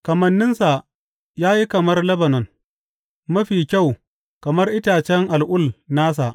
Kamanninsa ya yi kamar Lebanon, mafi kyau kamar itacen al’ul nasa.